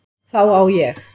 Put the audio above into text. Þá á ég